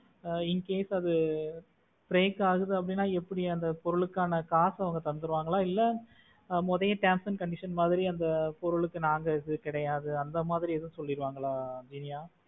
Ah in case அது break ஆகுது எப்படின்னா அந்த பொருளுக்கான காசு அவங்க தந்தடுவாங்களா இல்ல முறையா terms and condition மாதிரி அந்த பொருளுக்கு நாங்க இது கிடையாது அந்த மாதிரி ஏதுவும் சொல்லிடுவாங்களா இனியா?